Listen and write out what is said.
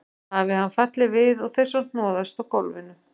Hafi hann fallið við og þeir svo hnoðast á gólfinu.